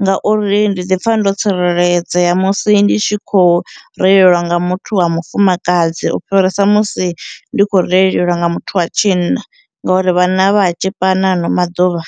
ngauri ndi ḓi pfha ndo tsireledzea musi ndi tshi khou reiliwa nga muthu wa mufumakadzi ufhirisa musi ndi khou reiliwa nga muthu wa tshinna ngori vhanna vha tzhipana hano maḓuvha.